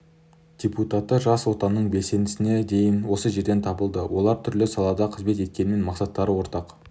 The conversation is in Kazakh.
депутаты жас отанның белсендісіне дейін осы жерден табылды олар түрлі салада қызмет еткенімен мақсаттары ортақ